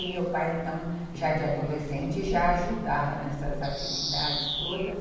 E meu pai, então, já de adolescente, já ajudava nessas atividades todas.